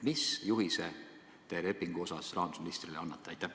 Mis juhise te lepinguga seoses rahandusministrile annate?